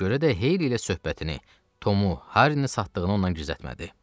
Ona görə də Heyli ilə söhbətini, Tomu Harrini satdığını ondan gizlətmədi.